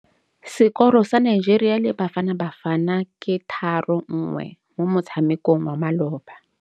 Sekôrô sa Nigeria le Bafanabafana ke 3-1 mo motshamekong wa malôba.